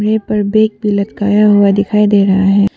इस पर बैग भी लटकाया हुआ दिखाई दे रहा है।